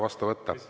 Ma esitan uuesti.